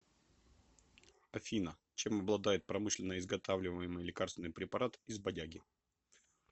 афина чем обладает промышленно изготавливаемый лекарственный препарат из бадяги